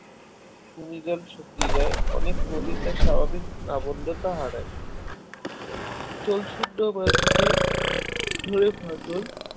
শুকিয়ে যায় অনেক নদী তার স্বাভাবিক নাব্যতা হারায় জল শূন্য মাটিতে ধরে ফাটল